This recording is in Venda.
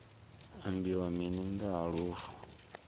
ambiwa mini nga ha lufu